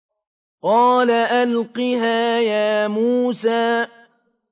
قَالَ أَلْقِهَا يَا مُوسَىٰ